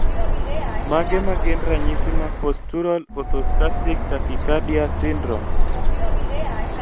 Mage magin ranyisi mag postural orthostatic tachycardia syndrome?